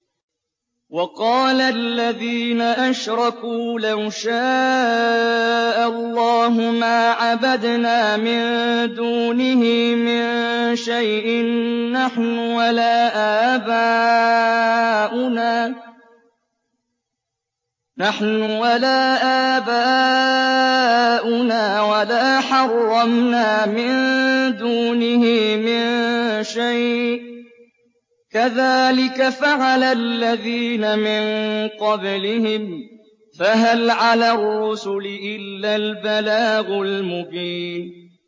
وَقَالَ الَّذِينَ أَشْرَكُوا لَوْ شَاءَ اللَّهُ مَا عَبَدْنَا مِن دُونِهِ مِن شَيْءٍ نَّحْنُ وَلَا آبَاؤُنَا وَلَا حَرَّمْنَا مِن دُونِهِ مِن شَيْءٍ ۚ كَذَٰلِكَ فَعَلَ الَّذِينَ مِن قَبْلِهِمْ ۚ فَهَلْ عَلَى الرُّسُلِ إِلَّا الْبَلَاغُ الْمُبِينُ